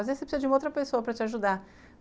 E aí você precisa de uma outra pessoa para te ajudar.